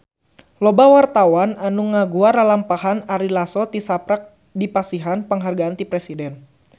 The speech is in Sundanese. Loba wartawan anu ngaguar lalampahan Ari Lasso tisaprak dipasihan panghargaan ti Presiden